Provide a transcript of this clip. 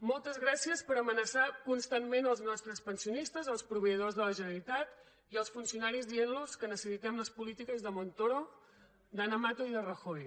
moltes gràcies per amenaçar constantment els nostres pensionistes els proveïdors de la generalitat i els funcionaris dient los que necessitem les polítiques de montoro d’ana mato i de rajoy